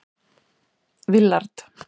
Willard